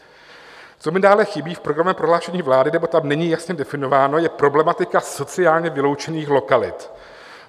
Co mi dále chybí v programovém prohlášení vlády nebo tam není jasně definováno, je problematika sociálně vyloučených lokalit.